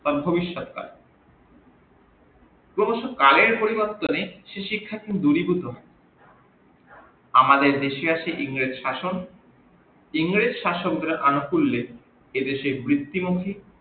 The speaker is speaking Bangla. ভবিশ্যত তা অবশ্য কালের পরিবর্তনে সে শিক্ষা দুরিভুত হই, আমাদের দেশে আছে ইংরেজ শাসক ইংরেজ শাসক এর কুল্লে এদেশের বিত্তি